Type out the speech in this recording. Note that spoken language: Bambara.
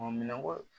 minɛnko